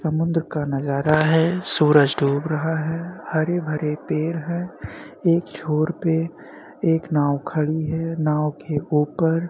समुन्द्र का नज़ारा है सूरज डूब रहा है हरे भरे पेड़ हैं एक छोर पे एक नाव खड़ी है नाव के ऊपर --